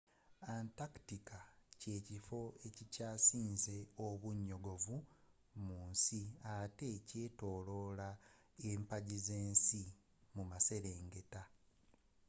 antarctica kye kifo ekikyasinze obunyogovu mu nsi atte kyetooloola empagi ze nsi ezomumaserengeta